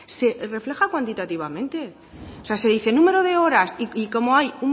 se refleja cuantitativamente o sea se dice número de horas y como hay